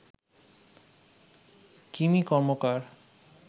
Kimi Karmakar